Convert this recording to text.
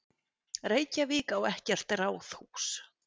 Reykjavík á ekkert ráðhús.